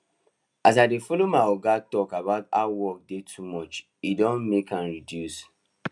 as i dey follow my oga talk about how work dey too much e don dey make am reduce